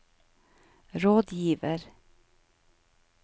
rådgiver